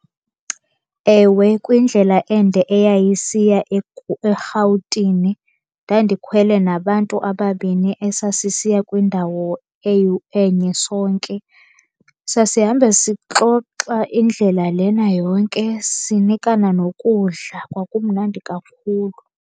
Ewe, kwindlela ende eyayisiya eRhawutini. Ndandikhwele nabantu ababini esasisiya kwindawo enye sonke. Sasihambe sixoxa indlela lena yonke, sinikana nokudla. Kwakumnandi kakhulu.